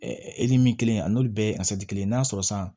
min kelen a n'olu bɛɛ ye kelen ye n'a sɔrɔ sisan